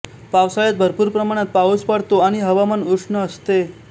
पावसाळ्यात भरपूर प्रमाणात पाऊस पडतो आणि हवामान उष्ण असते